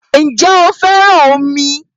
Ǹjẹ́ ó fẹ́ràn omi?